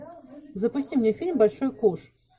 запусти мне фильм большой куш